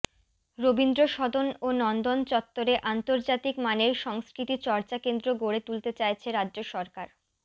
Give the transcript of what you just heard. রবীন্দ্র সদন ও নন্দন চত্বরে আন্তর্জাতিক মানের সংস্কৃতি চর্চা কেন্দ্র গড়ে তুলতে চাইছে রাজ্য সরকার